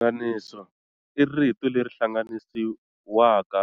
Rihlanganisi i rito leri hlanganisiwaka